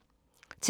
TV 2